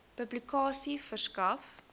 publikasie verskaf